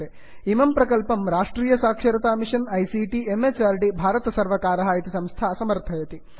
इमं प्रकल्पं राष्ट्रीय साक्षरता मिषन् आईसीटी म्हृद् भारतसर्वर्कारः इति संस्था समर्थयति